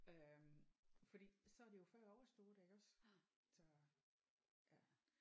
Øh fordi så er det jo før overstået iggås så ja